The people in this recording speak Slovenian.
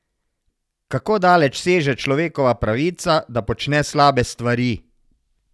Kako daleč seže človekova pravica, da počne slabe stvari?